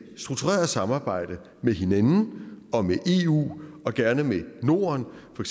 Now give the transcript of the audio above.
struktureret samarbejde med hinanden og med eu og gerne med norden for